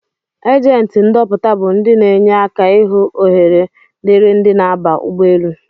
agenti ndọpụta bu ndi n' enye aka ihụ ohere diri ndi n'aba ụgbọ elụ.